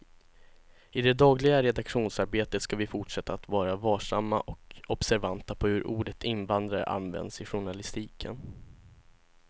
I det dagliga redaktionsarbetet ska vi fortsätta att vara varsamma och observanta på hur ordet invandrare används i journalistiken.